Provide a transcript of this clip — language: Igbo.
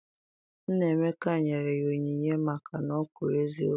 Nna Emeka nyere ya onyinye maka na o kwuru eziokwu.